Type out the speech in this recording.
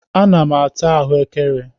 A na m ata ahụekere.